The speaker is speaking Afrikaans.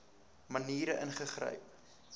maniere ingegryp